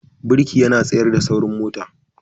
Birki yana tsayar da saurin mota.